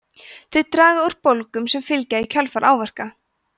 þau draga úr bólgum sem fylgja í kjölfar áverka